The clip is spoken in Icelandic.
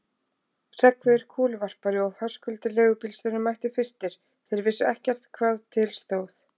Hreggviður kúluvarpari og Höskuldur leigubílstjóri mættu fyrstir, þeir vissu ekkert hvað til stóð.